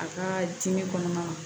A ka dimi kɔnɔna na